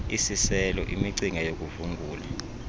isiselo imicinga yokuvungula